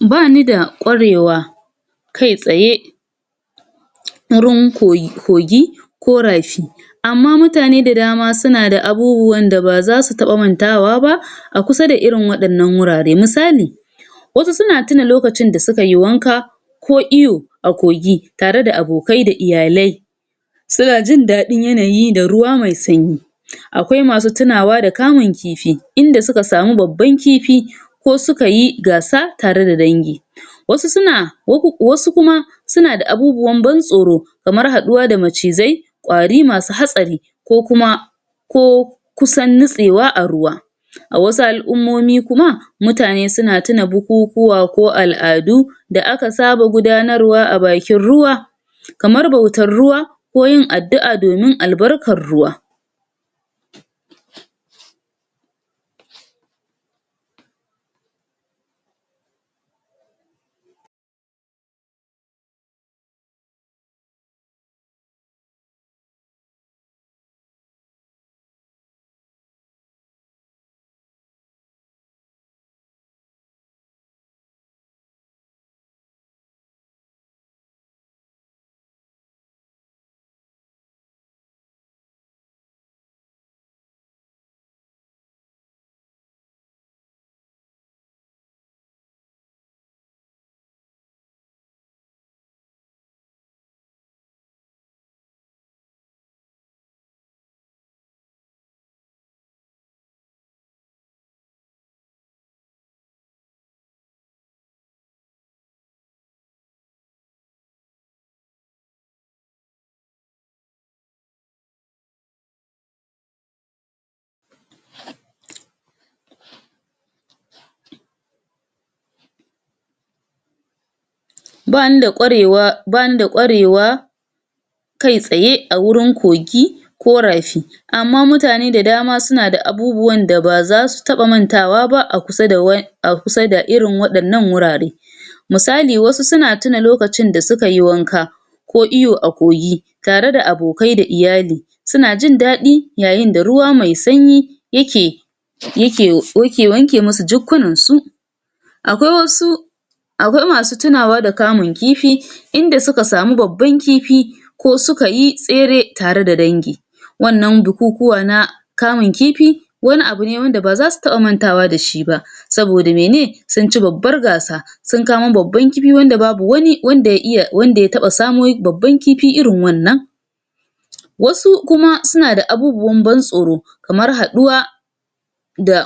ba ni da kwarewa kai tsaye wurin koyi, kogi ko rafi amma mutane da dama suna da abubuwan da ba za su taba mantawa ba a kusa da wa'yannan wurare misali wasu suna tina lokacin da sukai wanka ko iyo a kogi tare da abokai da iyale suna jin dadin yanayi da ruwa mai sanyi akwai masu tunawa da kamun kifi inda suka samu babban kifi ko sukayi gasa tare da dangi wasu suna uku, wasu kuma suna da abubuwan bantsoro kamar haduwa da macizai kwari masu hatsari ko kuma ko kusan nitsewa a ruwa a wasu al'ummomi kuma mutane na tuna bukukuwa ko al'adu da aka saba gudanarwa a bakin ruwa ka mar bautar ruwa ko yin addu'a domin albarkan ruwa bani da kwarewa, bani da kwarewa kai tsaye a wurin kogi ko rafi amma mutane da dama suna da abubuwan da ba za su taba mantawa ba akusa da a kusa da irin wadannan wurare misali wasu na tina lokacin da suka i wanka ko iyo a kogi tare da abokai da iyali suna jin dadi yayin da ruwa mai sanyi yake yake wanke musu jukkunansu akwai wasu akwai masu tinawa da kamun kifi inda suka samu babban kifi ko sukayi tsere tare da dangi wannan bukukuwa na na kamun kifi wani abu ne da ba za su taba mantawa da shi ba saboda mai ne sun ci babbar gasa sun kamo babbar kifi wanda babu wanda ya iya, wanda ya samo babban kifi irin wannan wasu kuma suna da abubuwan ban kamar haduwa daa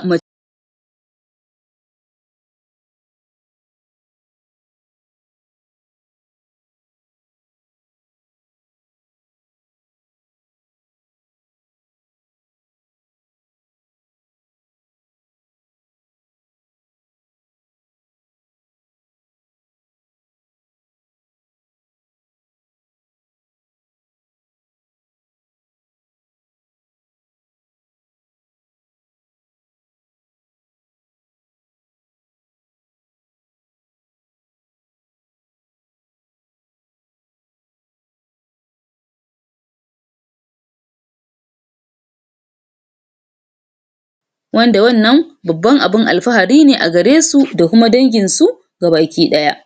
wanda wannan babban alfahari ne a gare su da kuma danginsu gabaki daya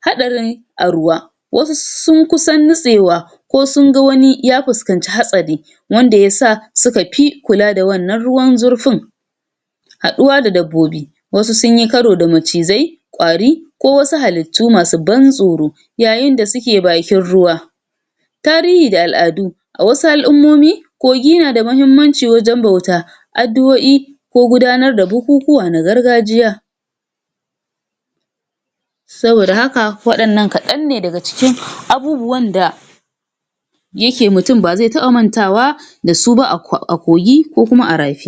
hadari aruwa wasu sun kusan nitsewa ko sunga wani ya fikanci hatsari wanda ya sa suka fi kula da wannan ruwan zurfin haduwa da dabbobi wasu sun yi karo da macizzai kwari ko wasu halitu masu ban tsoro yayin da suke bakin ruwa tarihi da al'adu a wasu al'ummomi kogi na da mahimmanci wajan bauta addu'o'i ko gudanar da bukukuwa na gargajiya saboda haka wannan kadanne daga cikin abubuwan da yake mutum ba zai taba mantawa da su ba a kogi ko a rafi